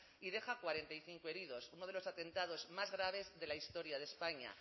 y deja cuarenta y cinco heridos uno de los atentados más graves de la historia de españa